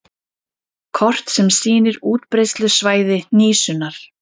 Kort sem sýnir útbreiðslusvæði hnísunnar.